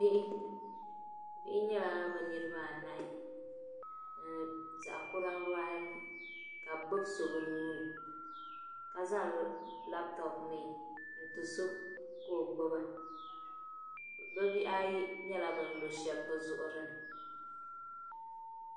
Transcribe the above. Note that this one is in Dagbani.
bihi nyɛla bɛ niriba anahi zaɣ' kura bibaayi ka bɛ gbubi so bɛ nuu ni ka zaŋ lapitɔpu mi nti so ka o gbuba bɛ bihi ayi nyɛla bɛ ni lo shɛba bɛ zuɣiri ni